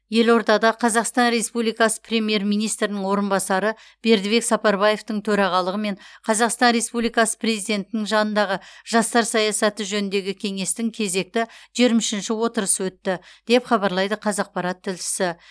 елордада қазақстан республикасы премьер министрінің орынбасары бердібек сапарбаевтың төрағалығымен қазақстан республикасы президентінің жанындағы жастар саясаты жөніндегі кеңестің кезекті жиырма үшінші отырысы өтті деп хабарлайды қазақпарат тілшісі